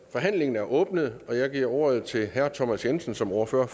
forhandlingen er åbnet jeg giver ordet til herre thomas jensen som ordfører